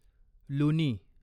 लुनी